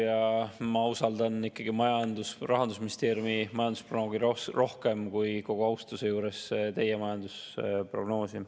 Ja kogu austuse juures, ma usaldan Rahandusministeeriumi majandusprognoosi rohkem kui teie majandusprognoosi.